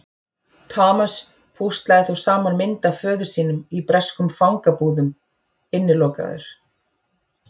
Thomas púslaði þó saman mynd af föður sínum í breskum fangabúðum: Innilokaður.